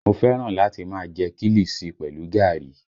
Mo fẹ́ràn láti máa jẹ kiliṣi pẹlu gaàrí